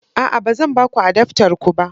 A'a, ba zan ba ku adaftar ku ba